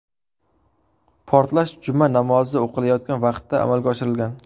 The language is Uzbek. Portlash Juma namozi o‘qilayotgan vaqtda amalga oshirilgan.